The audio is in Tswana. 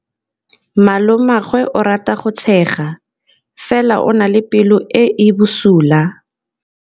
Malomagwe o rata go tshega fela o na le pelo e e bosula.